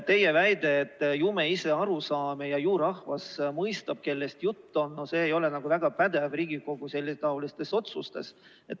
Teie väide, et ju me ise aru saame ja ju rahvas mõistab, kellest jutt on – no see ei ole nagu väga pädev Riigikogu selletaolistes otsustes.